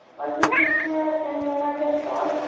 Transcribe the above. post office এ এ লেখা আছে পোস্ট --